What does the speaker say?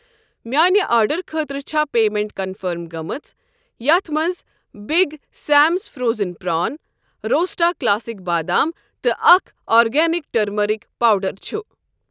میانہِ آرڈرٕ خٲطرٕ چھا پیمیٚنٹ کنفٔرم گٔمٕژ یتھ مَنٛز بِگ سیمز فرٛوزٕن پرٛان روسٹا کلاسِک بادام تہٕ اکھ آرگینِک ٹرمرک پوڈر چھ؟